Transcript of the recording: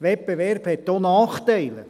Wettbewerb hat auch Nachteile.